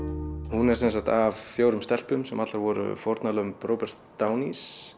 hún er sem sagt af fjórum stelpum sem allar voru fórnarlömb Róbert